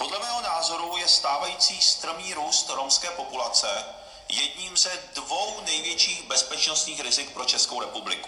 Podle mého názoru je stávající strmý růst romské populace jedním ze dvou největších bezpečnostních rizik pro Českou republiku.